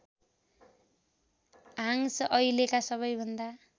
Hanks अहिलेका सबैभन्दा